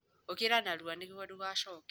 Ũkĩra narua nĩguo ndũgaacoke.